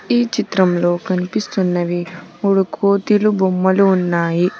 ఈ చిత్రంలో కనిపిస్తున్నవి మూడు కోతిలు బొమ్మలు ఉన్నాయి.